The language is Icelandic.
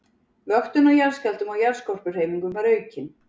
Vöktun á jarðskjálftum og jarðskorpuhreyfingum var aukin.